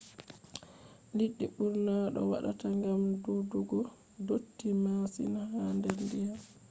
liɗɗi ɓurna ɗo wata gam dudugo dotti masin ha der diyam